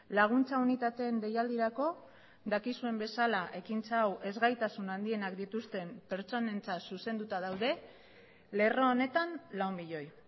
laguntza unitateen deialdirako dakizuen bezala ekintza hau ezgaitasun handienak dituzten pertsonentzat zuzenduta daude lerro honetan lau milioi